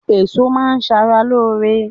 Èso má a n sara lóore